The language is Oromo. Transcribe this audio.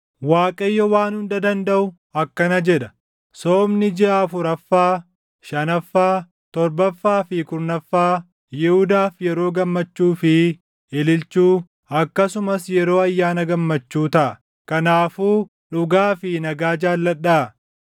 Waaqayyo Waan Hunda Dandaʼu akkana jedha: “Soomni jiʼa afuraffaa, shanaffaa, torbaffaa fi kurnaffaa Yihuudaaf yeroo gammachuu fi ililchuu, akkasumas yeroo ayyaana gammachuu taʼa. Kanaafuu dhugaa fi nagaa jaalladhaa.”